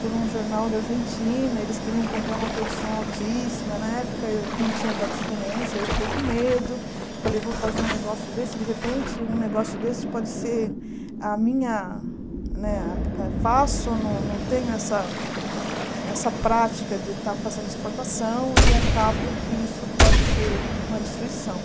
por um jornal da Argentina, eles queriam comprar uma produção altíssima, na época eu não tinha tanta experiência, eu fiquei com medo, falei, vou fazer um negócio desse, de repente um negócio desse pode ser a minha, né faço, não não tenho eh essa prática de estar fazendo exportação e acabo que isso pode ser uma destruição.